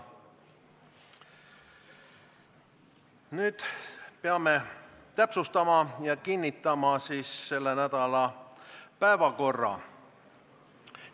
Nüüd peame täpsustama selle nädala päevakorda ja selle ka kinnitama.